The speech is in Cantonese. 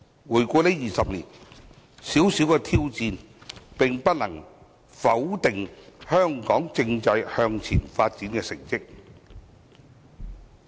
回顧這20年，小小的挑戰不能否定香港政制向前發展的成績。